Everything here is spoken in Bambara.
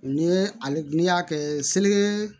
Ni ale n'i y'a kɛ seli